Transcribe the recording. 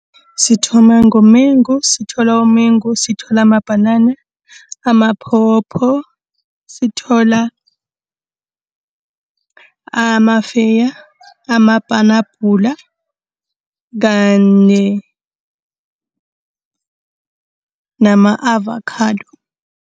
Sithoma ngomengu, sithola umengu, sithola amabhanana, amapopo, sithola amafeya, amapenabhula, kanye nama-avokhado.